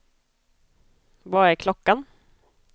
Vad är klockan